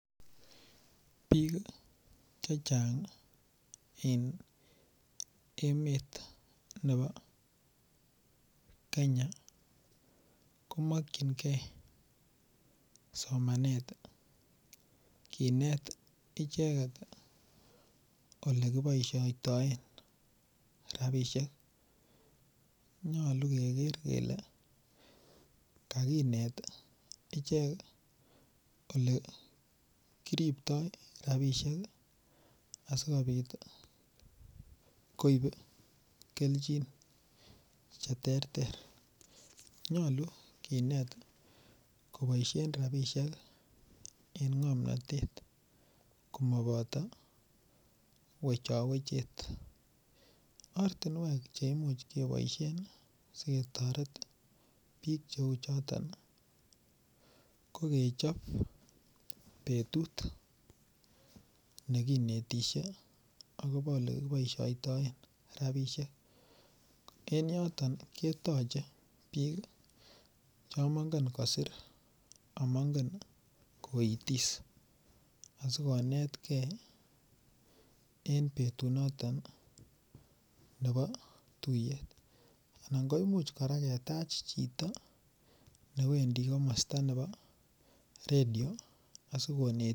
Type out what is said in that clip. Piik chechang eng' emet nepo Kenya komakchingei somanet kiinet icheket ole kipoistoen rapishek nyolu keger kele kagiinet ichek ole kiriptoy rapishek asikopit koip keljin cheterter nyolu kiinet kopaishen rapishek en ng'omnatet komapoto wechawechet ortinwek cheimuch kepoishen siketoret piik cheu choton ko kechop petut negiinetishe akopo ole kipoistoen rapishek en yotok ketoche piik cho maingen kosir amaingen koitis asikonetkei en petut noton nepo tuiyet anan koimuch koraa ketach chito newendi komosta nepo radio asiikonet.